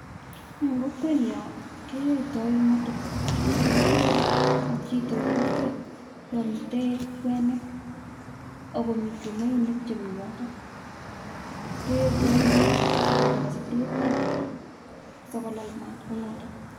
En kokwenyon keyoito kipkurere ak chito en kokwet yomiten kweni ako mii chumoinik chemiyotok keyoito kounotok sikindenee soburiet parak sikolal mat kounotok.